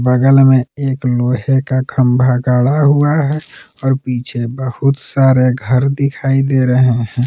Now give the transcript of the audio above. बगल में एक लोहे का खंभा गढ़ा हुआ है और पीछे बहुत सारे घर दिखाई दे रहे हैं।